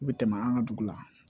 U bɛ tɛmɛ an ka dugu la